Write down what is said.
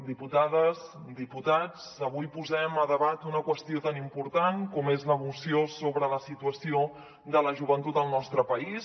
diputades diputats avui posem a debat una qüestió tan important com és la moció sobre la situació de la joventut al nostre país